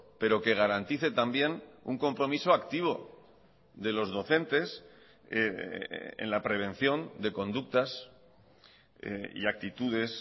pero que garantice también un compromiso activo de los docentes en la prevención de conductas y actitudes